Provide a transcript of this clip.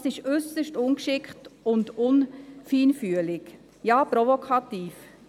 Das ist äusserst ungeschickt und nicht feinfühlig, ja provokativ.